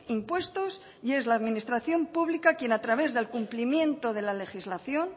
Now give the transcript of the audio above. impuestos y es la administración pública quien a través del cumplimiento de la legislación